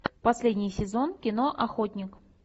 последний сезон кино охотник